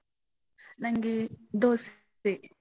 ನಂಗೆ ದೋಸೆ.